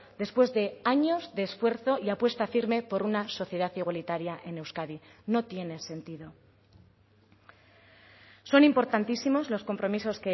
después de años de esfuerzo y apuesta firme por una sociedad igualitaria en euskadi no tiene sentido son importantísimos los compromisos